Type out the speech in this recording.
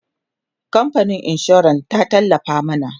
kamfanin insuran ta tallafa mana